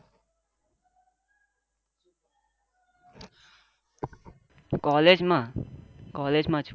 Collage માં collage માં છું